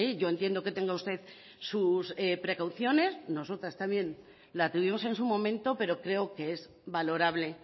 yo entiendo que tenga usted sus precauciones nosotras también la tuvimos en su momento pero creo que es valorable